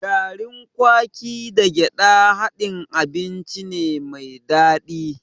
Garin kwaki da gyaɗa haɗin abinci ne mai daɗi.